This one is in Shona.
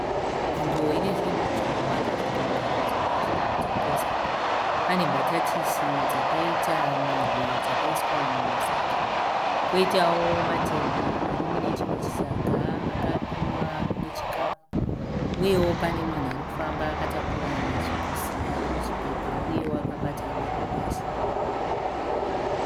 Nzvimbo inezvinhu zvakawanda zvakaunganidzwa zvirikutengesa. Pane mbatatisi dzakaita mirwi dzakaiswa mumasaga. Poitawo matemba arimunechimwe chisaga akapimwa nechikapu. Uyewo pane munhu arikufamba akabata machipusi arimuchipepa, uyewo akabata madomasi.